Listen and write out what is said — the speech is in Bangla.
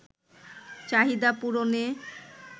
চাহিদা পূরণে